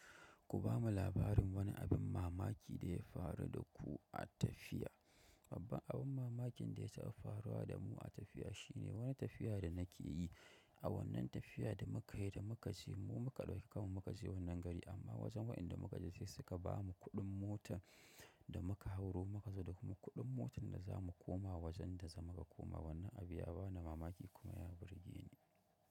Ku bamu labarin wani abin mamaki da ya faru da ku a tafiya. Babban abun mamakin da ya taɓa faruwa da mu a tafiya shine wani tafiya da nake yi. A wannan tafiya da muka yi da muka je mu muka ɗauki kammu muka je wannan gari amma wajen waɗanda muka je sai suka ba mu kuɗin motar da muka hauro muka zo da kuma kuɗin motar da za mu koma wajen da za mu ka koma. Wannan abi ya bani mamaki kuma ya burge ni.